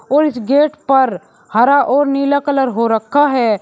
और इस गेट पर हरा और नीला कलर हो रखा है।